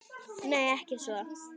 Nei, ekki svo